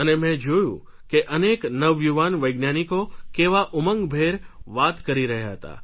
અને મે જોયું કે અનેક નવયુવાન વૈજ્ઞાનિકો કેવા ઉમંગભેર વાત કરી રહ્યા હતા